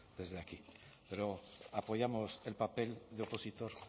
desde aquí pero apoyamos el papel de opositor